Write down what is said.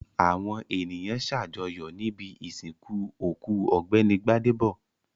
Àwọn ènìyàn ṣàjọyọ̀ níbi ìsìnkú òkú Ọ̀gbẹ́ni Gbádébọ̀.